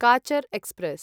Cachar express